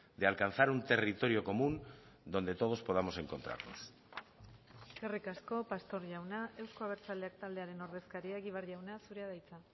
de alcanzar un territorio común donde todos podamos encontrarnos eskerrik asko pastor jauna euzko abertzaleak taldearen ordezkaria egibar jauna zurea da hitza